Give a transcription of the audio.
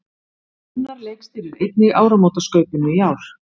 Gunnar leikstýrir einnig áramótaskaupinu í ár